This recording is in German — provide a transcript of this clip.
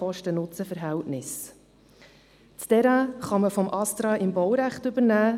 Das Terrain kann man vom Astra im Baurecht übernehmen.